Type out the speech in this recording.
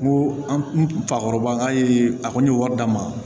N ko an fakɔrɔba ye a kɔni ye wari d'a ma